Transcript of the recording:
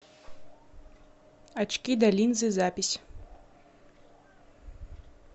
очкидалинзы запись